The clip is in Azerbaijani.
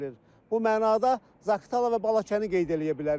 Bu mənada Zaqatala və Balakəni qeyd eləyə bilərik.